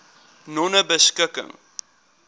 nonebeskikking